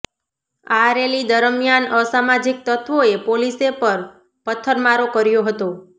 આ રેલી દરમિયાન અસામાજીક તત્વોએ પોલીસે પર પથ્થરમારો કર્યો હતો